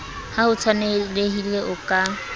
ha ho tshwanelehile o ka